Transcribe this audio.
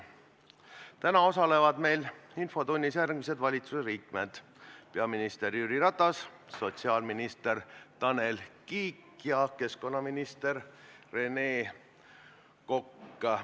Täna osalevad meil infotunnis järgmised valitsusliikmed: peaminister Jüri Ratas, sotsiaalminister Tanel Kiik ja keskkonnaminister Rene Kokk.